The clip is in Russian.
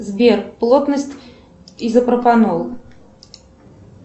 сбер плотность изопропанол